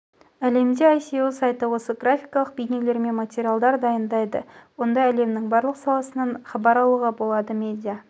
әлемде іеесо сайты осы графикалық бейнелермен материалдар дайындайды онда әлемнің барлық саласынан абар алуға болады медиа